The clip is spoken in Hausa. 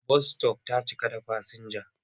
Bas -sitof ta cika da fasinja.